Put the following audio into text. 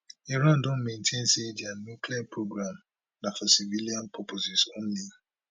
iran don maintain say dia nuclear programme na for civilian purposes only